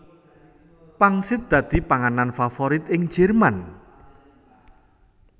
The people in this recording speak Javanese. Pangsit dadi panganan favorit ing Jerman